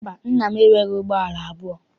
Mba, nna m enweghị ụgbọala abụọ.